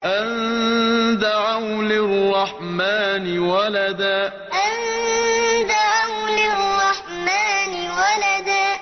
أَن دَعَوْا لِلرَّحْمَٰنِ وَلَدًا أَن دَعَوْا لِلرَّحْمَٰنِ وَلَدًا